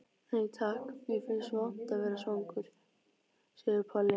Nei takk, mér finnst vont að vera svangur, segir Palli.